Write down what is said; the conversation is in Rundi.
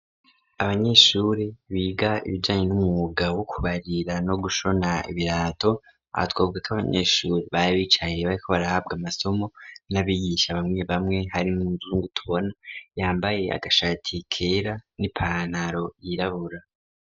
Abanyeshure biga ibijanye n'umwuga wo kubarira no gushona ibirato abatwobwe k'abanyeshure bari bicaye bariko barahabwa amasomo n'abigisha bamwe bamwe hari muzungu tubona yambaye agashati kera n'ipantaro yirabura.